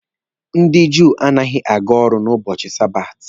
Ndị Júù anaghị aga ọrụ n'ubochi sabati.